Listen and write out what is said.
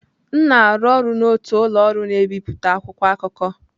M na-arụ ọrụ n'otu ụlọ ọrụ na-ebipụta akwụkwọ akụkọ.